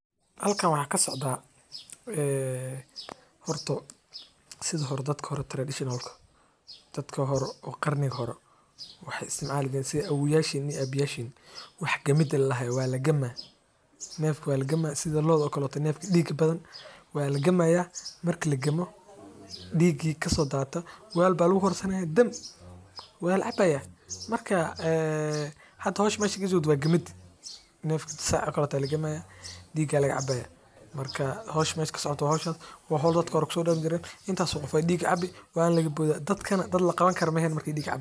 Halkan waxaa kasocdaa horto sidi dadki hore oo qarniga hore waxaay isticmaali jireen wax gamid ladahoo neefka looda diiga badan oo somaliyeed ayaa laga helaa hilib mida kowaad waa daqtarka dadka sacideyni.